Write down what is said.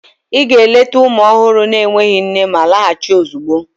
Ị ga-eleta ụmụ ọhụrụ na-enweghị nne ma laghachi ozugbo!